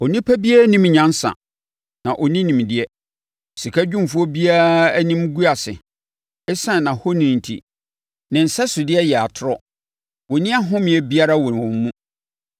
Onipa biara nnim nyansa, na ɔnni nimdeɛ; sikadwumfoɔ biara anim gu ase, ɛsiane nʼahoni enti. Ne nsɛsodeɛ yɛ atorɔ; wɔnni ahomeɛ biara wɔ wɔn mu.